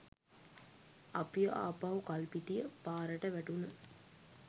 අපිව ආපහු කල්පිටිය පාරට වැටුන.